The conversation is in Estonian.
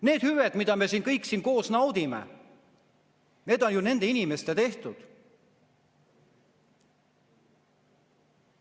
Need hüved, mida me siin kõik koos naudime, on ju nende inimeste tehtud.